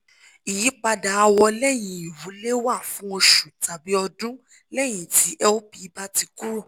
ìyípadà àwọ̀ lẹ́yìn ìwú lè wà fún oṣù tàbí ọdún lẹ́yìn tí lp bá ti kúrò